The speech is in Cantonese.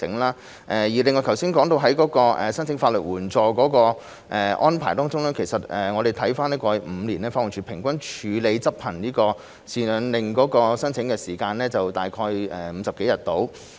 另外，剛才提到申請法律援助的安排中，我們翻看過去5年，法援署平均處理執行贍養令申請的時間大約為50多天。